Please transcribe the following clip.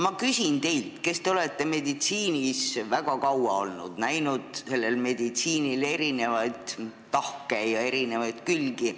Ma küsin teilt, kes te olete olnud meditsiinis väga kaua, näinud selle eri tahke ja külgi.